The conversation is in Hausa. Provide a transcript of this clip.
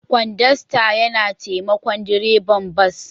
Kodasta yana taimakon direban bas.